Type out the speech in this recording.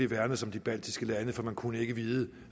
værnes om de baltiske lande for man kunne ikke vide